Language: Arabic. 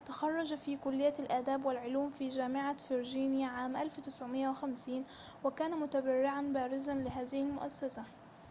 تخرّج في كلية الآداب والعلوم في جامعة فرجينيا عام 1950 وكان متبرعًا بارزًا لهذه المؤسسة